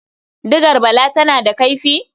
Digar Bala tana da kaifi?